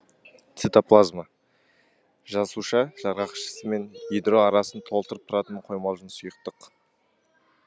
цитоплазма жасуша жарғақшысы мен ядро арасын толтырып тұратын қоймалжың сұйықтық